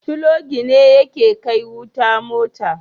Filogi ne yake kai wuta mota